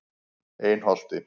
Einholti